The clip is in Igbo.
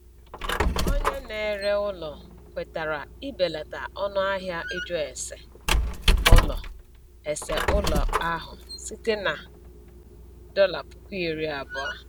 Onye na-ere ụlọ kwetara ibelata ọnụahịa ịjụ ese ụlọ ese ụlọ ahụ site na dọla puku iri abụọ